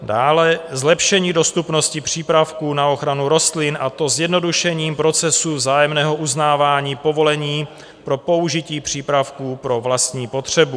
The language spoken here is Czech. Dále - zlepšení dostupnosti přípravků na ochranu rostlin, a to zjednodušením procesu vzájemného uznávání povolení pro použití přípravků pro vlastní potřebu.